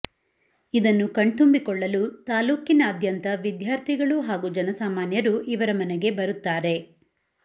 ಇದನ್ನು ಕಣ್ತುಂಬಿಕೊಳ್ಳಲು ತಾಲ್ಲೂಕಿನಾದ್ಯಂತ ವಿದ್ಯಾರ್ಥಿಗಳು ಹಾಗೂ ಜನಸಾಮಾನ್ಯರು ಇವರ ಮನೆಗೆ ಬರುತ್ತಾರೆ